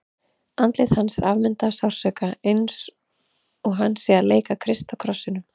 Andlit hans er afmyndað af sársauka, eins og hann sé að leika Krist á krossinum.